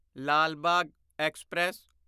Lal Bagh express